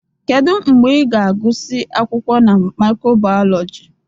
Kedu mgbe ị ga-agụsị akwụkwọ na micro-biology?